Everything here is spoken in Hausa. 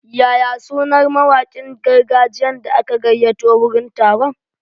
Yaya sunar mawakin gargajiyan da aka gayyato wurin taron?